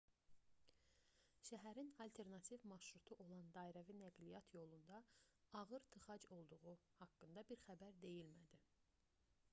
şəhərin alternativ marşrutu olan dairəvi nəqliyyat yolunda ağır tıxac olduğu haqqında bir xəbər deyilmədi